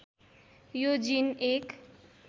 यो जीन एक